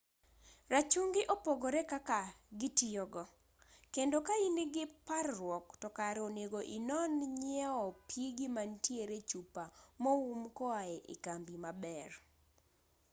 rachungi opogore kaka gitiyo kendo ka in-gi par-ruok to kare onego inon nyiewo pigi mantie chupa moum koae ekambi maber